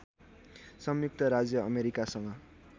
संयुक्त राज्य अमेरिकासँग